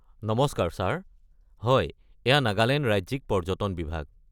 নমস্কাৰ ছাৰ! হয়, এইয়া নাগালেণ্ড ৰাজ্যিক পৰ্যটন বিভাগ।